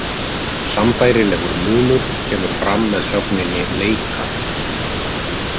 Sambærilegur munur kemur fram með sögninni leika.